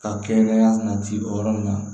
Ka kɛnɛya na ci o yɔrɔ min na